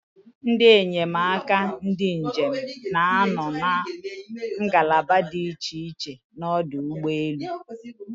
Ndị enyemaka ndị njem na-anọ na ngalaba dị iche iche n'ọdụ ụgbọelu.